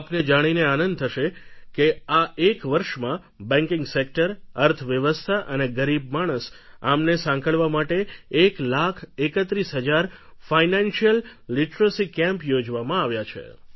આપને જાણીને આનંદ થશે કે આ એક વર્ષમાં બેન્કીંગ સેક્ટર અર્થવ્યવસ્થા અને ગરીબ માણસ આમને સાંકળવા માટે એક લાખ એકત્રીસ હજાર ફાઇનાન્શીયલ લીટરસી કેમ્પ યોજવામાં આવ્યા છે